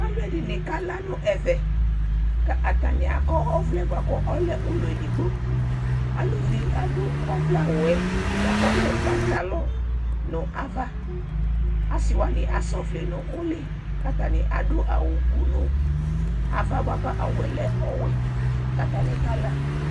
aloɛdini kala no ɛvɛ k'atani akɔ ɔvlɛ boa ko ɔlɛ ulɔ edigbo aluvi ado ɔvlɛ awuɛ boa ko ɔlɛ pantalɔ no ava ase wani asɛ ɔvlɛ no uli ko atani ado awu ku no ava boa ko awuɛ lɛ ɔwɛ k'atani kala